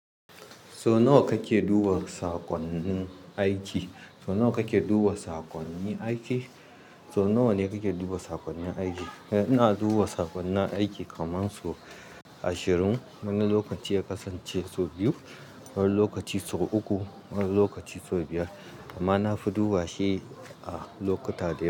So nawa kake duba saƙonnin aiki? So nawa kake duba sakonni aiki? So nawa ne kake duba sakonnin aiki? Eh, ina duba saƙonni aiki kaman so ashirin. Wani lokaci ya kasance so biyu, wani lokaci so uku, wani lokaci so biyar. Amma na fi duba shi a lokuta da.